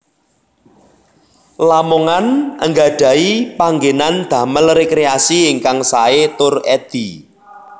Lamongan anggadhahi panggenan damel rekreasi ingkang sae tur edi